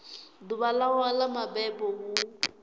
ḓuvha ḽawe ḽa mabebo hu